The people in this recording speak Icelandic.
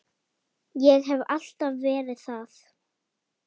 Ég hef alltaf verið það.